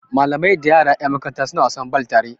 Malamai da yara yan makaranta suna wasan bal tare